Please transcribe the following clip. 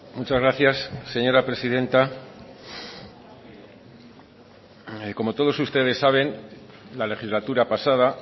muchas gracias señora presidenta como todos ustedes saben la legislatura pasada